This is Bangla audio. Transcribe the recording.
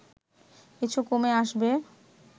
কিছু কমে আসবে